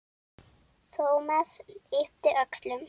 Thomas yppti öxlum.